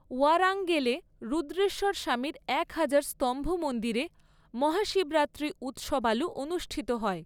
ওয়ারাঙ্গলেে রুদ্রেশ্বর স্বামীর একহাজার স্তম্ভ মন্দিরে মহাশিবরাত্রি উৎসবালু অনুষ্ঠিত হয়।